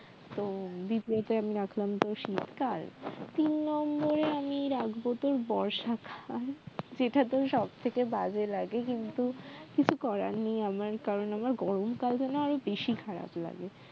তো দ্বিতীয়ত আমি রাখলাম তো শীতকাল তিন নম্বরে আমি রাখব তোর বর্ষাকাল যেটা তোর সব থেকে বাজে লাগে কিন্তু কিছু করার নেই আমার কারণ আমার গরমকাল যেন আরো বেশি খারাপ লাগে